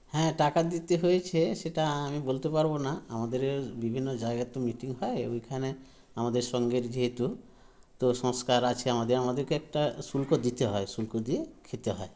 হ্যাঁ টাকা দিতে হয়েছে সেটা আমি বলতে পারবোনা আমাদের বিভিন্ন জায়গায় তো meeting হয় ঐখানে আমাদের সঙ্ঘের যেহেতু তো সংস্কার আছে আমাদের আমাদেরকে একটা শুল্ক দিতে হয় শুল্ক দিয়ে খেতে হয়